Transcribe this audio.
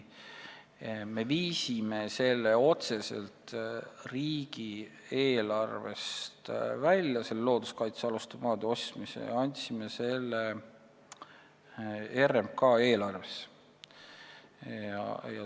Me viisime looduskaitsealuste maade ostmise otseselt riigieelarvest välja ja andsime selle RMK eelarvesse.